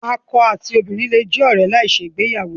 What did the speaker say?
Akọ ati obinrin le kan jẹ ọrẹ lai ṣe igbeyawo